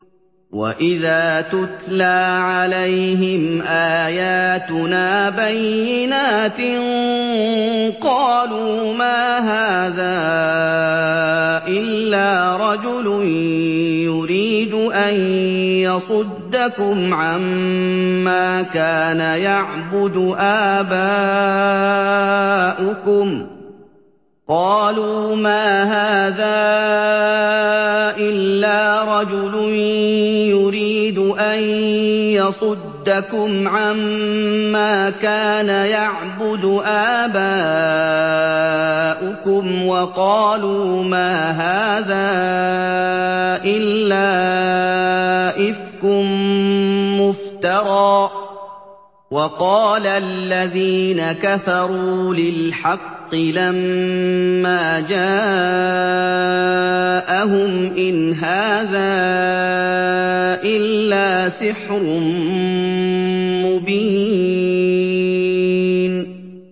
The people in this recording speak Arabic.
وَإِذَا تُتْلَىٰ عَلَيْهِمْ آيَاتُنَا بَيِّنَاتٍ قَالُوا مَا هَٰذَا إِلَّا رَجُلٌ يُرِيدُ أَن يَصُدَّكُمْ عَمَّا كَانَ يَعْبُدُ آبَاؤُكُمْ وَقَالُوا مَا هَٰذَا إِلَّا إِفْكٌ مُّفْتَرًى ۚ وَقَالَ الَّذِينَ كَفَرُوا لِلْحَقِّ لَمَّا جَاءَهُمْ إِنْ هَٰذَا إِلَّا سِحْرٌ مُّبِينٌ